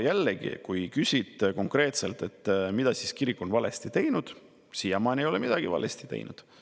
Jällegi, kui küsida konkreetselt, mida siis kirik on valesti teinud, siis siiamaani ei ole midagi valesti teinud.